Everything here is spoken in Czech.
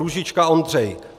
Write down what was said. Růžička Ondřej